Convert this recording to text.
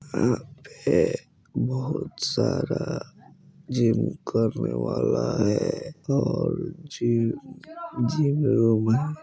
यहाँ पे बहुत सारा जिम करने वाले है और जिम जिम रूम है।